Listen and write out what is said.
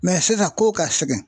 sisan kow ka segin